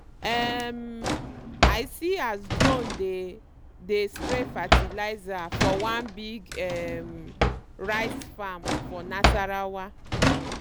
um i see as drone dey dey spray fertilizer for one big um rice farm for nasarawa